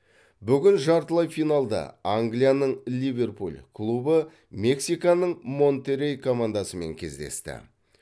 бүгін жартылай финалда англияның ливерпуль клубы мексиканың монтеррей командасымен кездесті